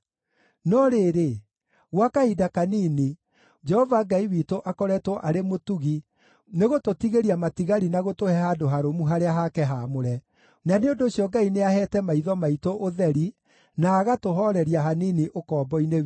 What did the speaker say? “No rĩrĩ, gwa kahinda kanini, Jehova Ngai witũ akoretwo arĩ mũtugi nĩ gũtũtigĩria matigari na gũtũhe handũ harũmu harĩa hake haamũre, na nĩ ũndũ ũcio Ngai nĩaheete maitho maitũ ũtheri na agatũhooreria hanini ũkombo-inĩ witũ.